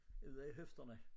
Ude i hofterne